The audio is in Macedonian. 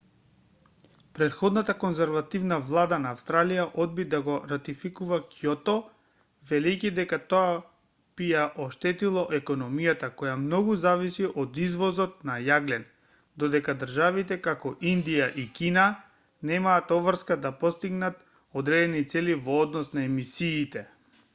претходната конзервативна влада на австралија одби да го ратификува кјото велејќи дека тоа би ја оштетило економијата која многу зависи од извозот на јаглен додека државите како индија и кина немаа обврска да постигнат одредени цели во однос на емисиите